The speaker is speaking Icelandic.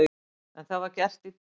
En það var gert í dag.